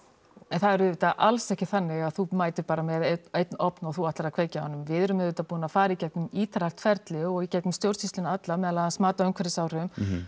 það er auðvitað alls ekki þannig að þú mætir bara með einn einn ofn og þú ætlir að kveikja á honum við erum auðvitað búin að fara í gegnum ítarlegt ferli og í gegnum stjórnsýsluna alla meðal annars mat á umhverfisáhrifum